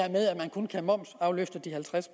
kun kan momsafløfte halvtreds